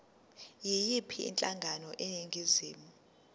yiyiphi inhlangano eningizimu